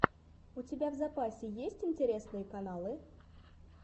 у тебя в запасе есть интересные каналы